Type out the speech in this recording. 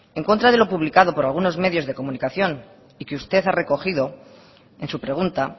en contra de lo publicado por algunos medios de comunicación y que usted ha recogido en su pregunta